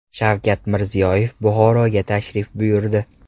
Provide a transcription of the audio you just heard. Shavkat Mirziyoyev Buxoroga tashrif buyurdi.